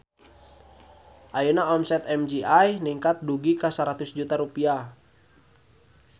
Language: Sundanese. Ayeuna omset MGI ningkat dugi ka 100 juta rupiah